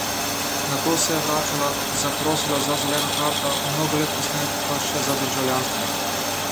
Nato se je vračala, zaprosila za zeleno karto, mnogo let kasneje pa še za državljanstvo.